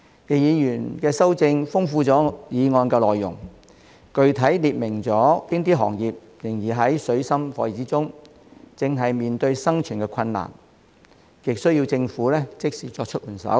易議員的修正案豐富了我的議案內容，具體列明了哪些行業仍然處於水深火熱之中，正在面對生存困難，極需要政府即時作出援手。